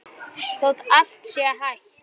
Þótt allt sé hætt?